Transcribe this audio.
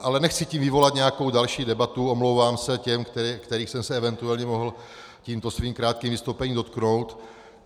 Ale nechci tím vyvolat nějakou další debatu, omlouvám se těm, kterých jsem se eventuálně mohl tímto svým krátkým vystoupením dotknout.